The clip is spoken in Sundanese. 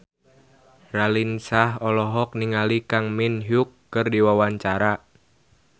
Raline Shah olohok ningali Kang Min Hyuk keur diwawancara